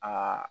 Aa